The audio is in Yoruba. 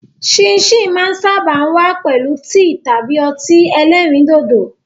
Síìnsìn máa ń sáábà wá pẹ̀lú tíì tàbí ọtí ẹlẹ́rìndòdò.